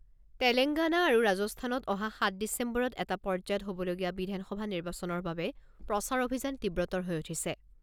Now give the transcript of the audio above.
তেলেংগানা আৰু ৰাজস্থানত অহা সাত ডিচেম্বৰত এটা পৰ্যায়ত হ'বলগীয়া বিধানসভা নিৰ্বাচনৰ বাবে প্ৰচাৰ অভিযান তীব্ৰতৰ হৈ উঠিছে।